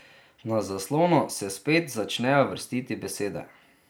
Na zaslonu se spet začnejo vrstiti besede.